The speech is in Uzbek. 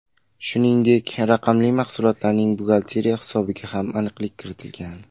Shuningdek, raqamli mahsulotlarning buxgalteriya hisobiga ham aniqlik kiritilgan.